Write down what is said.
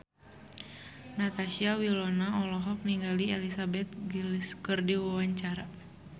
Natasha Wilona olohok ningali Elizabeth Gillies keur diwawancara